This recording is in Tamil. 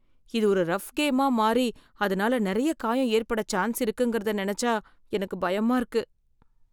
இது ஒரு ரஃப் கேமா மாறி அதனால நிறைய காயம் ஏற்படச் சான்ஸ் இருக்குங்கிறத நினச்சா எனக்கு பயமா இருக்கு.